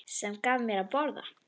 Sem gaf mér að borða.